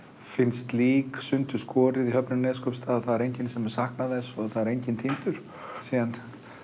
finnst lík sundurskorið í höfninni á Neskaupstað það er enginn sem saknar neins og enginn týndur síðan